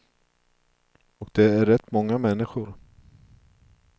Och det är rätt många människor.